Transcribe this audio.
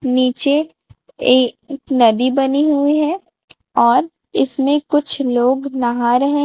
नीचे एक नदी बनी हुई है और इसमें कुछ लोग नहा रहे--